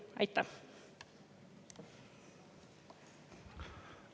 Aitäh!